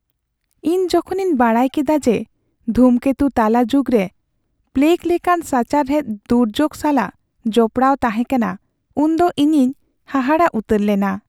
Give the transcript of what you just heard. ᱤᱧ ᱡᱚᱠᱷᱚᱱ ᱤᱧ ᱵᱟᱰᱟᱭ ᱠᱮᱫᱟ ᱡᱮ ᱫᱷᱩᱢᱠᱮᱛᱩ ᱛᱟᱞᱟ ᱡᱩᱜᱽᱨᱮ ᱯᱞᱮᱜ ᱞᱮᱠᱟᱱ ᱥᱟᱪᱟᱨᱦᱮᱫ ᱫᱩᱨᱡᱳᱜ ᱥᱟᱞᱟᱜ ᱡᱚᱯᱲᱟᱣ ᱛᱟᱦᱮᱸ ᱠᱟᱱᱟ ᱩᱱᱫᱚ ᱧᱤᱧᱤᱧ ᱦᱟᱦᱟᱲᱟᱜ ᱩᱛᱟᱹᱨ ᱞᱮᱱᱟ ᱾